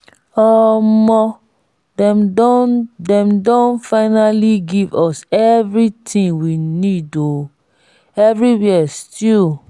omo dem don dem don finally give us everything we need oo everywhere stew